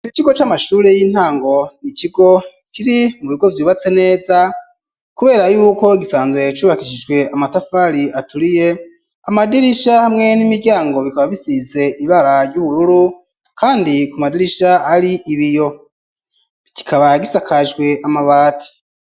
Ico kigo c'amashure y'intango n'ikigo kiri mu bigo vyubatse neza kubera yuko gisanzwe cubakishijwe amatafari aturiye, amadirisha hamwe n'imiryango bikaba bisize ibara ry'ubururu kandi ku madirisha ari ibiyo. Kikaba gisakajwe amabati.